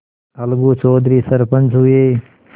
अलगू चौधरी सरपंच हुए